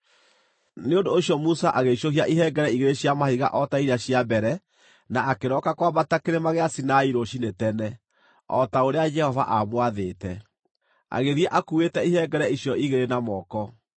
Nĩ ũndũ ũcio Musa agĩicũhia ihengere igĩrĩ cia mahiga o ta iria cia mbere na akĩroka kwambata kĩrĩma gĩa Sinai rũciinĩ tene, o ta ũrĩa Jehova aamwathĩte; agĩthiĩ akuuĩte ihengere icio igĩrĩ na moko.